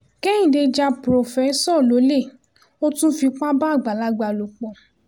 kẹ́hìndé já párofẹ́sọ lọ́lẹ̀ ó tún fipá bá àgbàlagbà lò pọ̀